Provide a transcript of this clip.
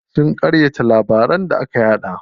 Sun ƙaryata labaran da aka yaɗa.